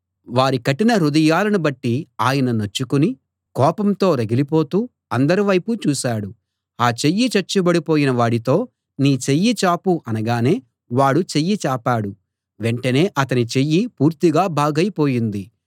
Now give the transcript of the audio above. వారి కఠిన హృదయాలను బట్టి ఆయన నొచ్చుకుని కోపంతో రగిలిపోతూ అందరి వైపూ చూశాడు ఆ చెయ్యి చచ్చుబడిపోయిన వాడితో నీ చెయ్యి చాపు అనగానే వాడు చెయ్యి చాపాడు వెంటనే అతని చెయ్యి పూర్తిగా బాగైపోయింది